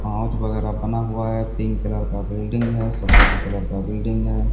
वगैरा बना हुआ है पिंक कलर का बिल्डिंग है सफेद कलर का बिल्डिंग है।